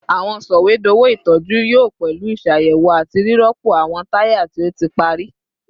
Awọn sọwedowo itọju yoo pẹlu iṣayẹwo ati rirọpo awọn taya ti o ti pari